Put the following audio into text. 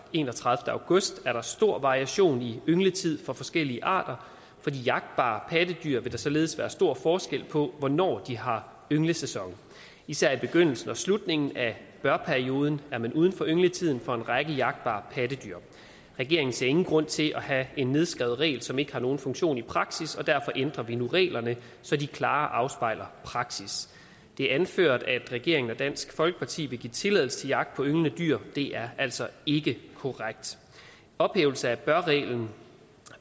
enogtredivete august er der stor variation i yngletid for forskellige arter for de jagtbare pattedyr vil der således være stor forskel på hvornår de har ynglesæson især i begyndelsen og slutningen af bør perioden er man uden for yngletiden for en række jagtbare pattedyr regeringen ser ingen grund til at have en nedskreven regel som ikke har nogen funktion i praksis og derfor ændrer vi nu reglerne så de klarere afspejler praksis det er anført at regeringen og dansk folkeparti vil give tilladelse til jagt på ynglende dyr det er altså ikke korrekt ophævelse af bør reglen